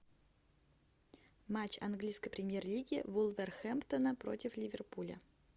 матч английской премьер лиги вулверхэмптона против ливерпуля